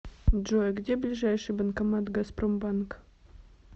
джой где ближайший банкомат газпромбанка